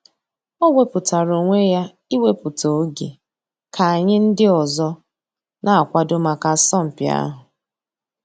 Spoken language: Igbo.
Ọ̀ wépụ̀tárà ònwè yà íwèpụ̀tà ògè kà ànyị̀ ńdí òzò nà-àkwàdò mǎká àsọ̀mpị̀ àhụ̀.